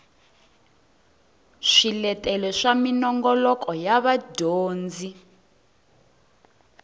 swiletelo swa minongoloko ya dyondzo